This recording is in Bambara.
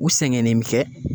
U sɛgɛnnen mi kɛ